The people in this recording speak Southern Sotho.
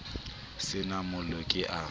se na mollo ke a